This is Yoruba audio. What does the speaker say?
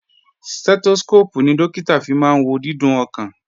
Stẹ́tóskóópù ni Dókítà fi máa wo dídún ọkàn